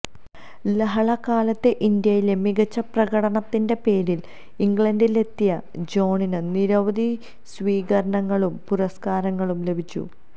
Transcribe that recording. ലഹളക്കാലത്തെ ഇന്ത്യയിലെ മികച്ച പ്രകടനത്തിന്റെ പേരിൽ ഇംഗ്ലണ്ടിലെത്തിയ ജോണിന് നിരവധി സ്വീകരണങ്ങളും പുരസ്കാരങ്ങളും ലഭിച്ചു